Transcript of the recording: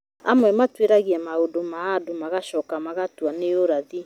Amwe matuĩragia maũndũ ma mũndũ magacoka magatua nĩ ũrathi